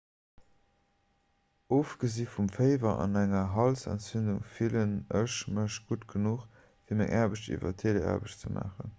ofgesi vum féiwer an enger halsentzündung fillen ech mech gutt genuch fir meng aarbecht iwwer teleaarbecht ze maachen